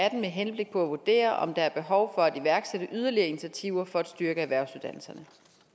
atten med henblik på at vurdere om der er behov for at iværksætte yderligere initiativer for at styrke erhvervsuddannelserne